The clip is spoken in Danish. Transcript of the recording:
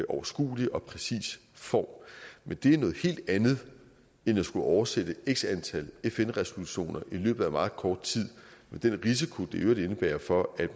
overskuelig og præcis form men det er noget helt andet end at skulle oversætte x antal fn resolutioner i løbet af meget kort tid med den risiko det i øvrigt indebærer for at